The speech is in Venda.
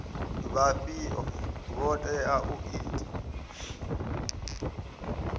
vhafhio vho teaho u ita